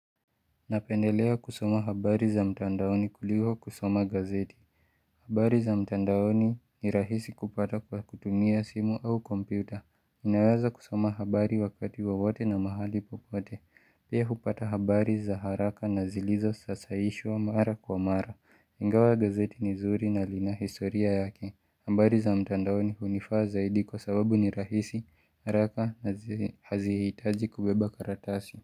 Napendelea kusoma habari za mtandaoni kuliko kusoma gazeti. Habari za mtandaoni ni rahisi kupata kwa kutumia simu au kompyuta. Unawaza kusoma habari wakati wowote na mahali popote. Pia hupata habari za haraka na zilizo sasaishwa mara kwa mara. Ingawa gazeti ni zuri na lina historia yake. Habari za mtandaoni hunifaa zaidi kwa sababu ni rahisi, haraka na hazihitaji kubeba karatasi.